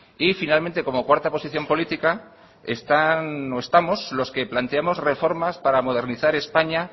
y finalmente como cuarta posición política están o estamos los que planteamos reformas para modernizar españa